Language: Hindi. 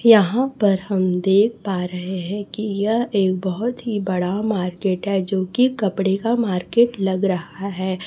यहां पर हम देख पा रहे हैं कि यह एक बहोत ही बड़ा मार्केट है जो की कपड़े का मार्केट लग रहा है।